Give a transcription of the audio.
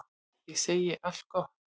Ég segi allt gott.